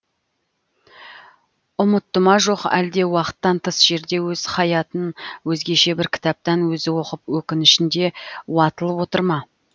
ұмытты ма жоқ әлде уақыттан тыс жерде өз хаятын өзгеше бір кітаптан өзі оқып өкінішінде уатылып отыр ма